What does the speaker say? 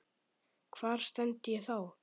Hvar stend ég þá?